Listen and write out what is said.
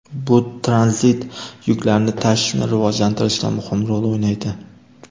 Bu tranzit yuklarni tashishni rivojlantirishda muhim rol o‘ynaydi.